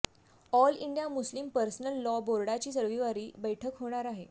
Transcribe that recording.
all India Muslim personal law बोर्डाची रविवारी बैठक होणार आहे